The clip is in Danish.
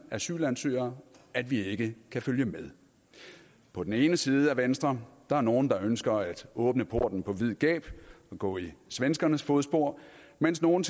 asylansøgere at vi ikke kan følge med på den ene side af venstre der nogle der ønsker at åbne porten på vid gab og gå i svenskernes fodspor mens nogle